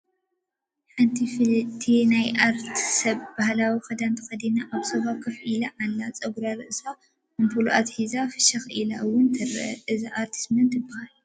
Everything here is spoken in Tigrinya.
ሓንቲ ፍልቲ ናይ ኣርት ሰብ ባህላዊ ክዳን ተኸዲና ኣብ ሶፋ ከፍ ኢላ ትረአ፡፡ ፀጉሪ ርእሳ ኣምፖል ኣትሒዛ ፍሽኽ ኢላ ውን ትረአ፡፡ እዛ ኣርቲስት መን ትባሃል?